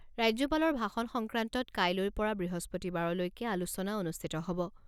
ৰাজ্যপালৰ ভাষণ সংক্ৰান্তত কাইলৈৰ পৰা বৃহস্পতিবাৰলৈকে আলোচনা অনুষ্ঠিত হ'ব।